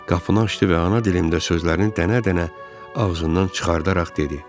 Qapını açdı və ana dilimdə sözlərini dənə-dənə ağzından çıxardaraq dedi.